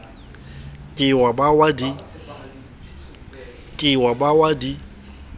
ke wa ba wa di